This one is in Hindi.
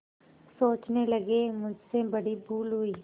सोचने लगेमुझसे बड़ी भूल हुई